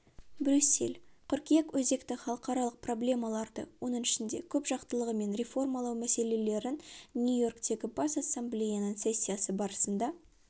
брюссель қыркүйек өзекті халықаралық проблемаларды оның ішінде көпжақтылығы мен реформалау мәселелерін нью-йоркте бас ассамблеяның сессиясы барысында